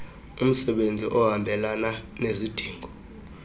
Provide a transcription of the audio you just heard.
umsebenzi ohambelana nezidingo